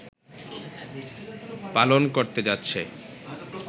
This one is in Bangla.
পালন করতে যাচ্ছে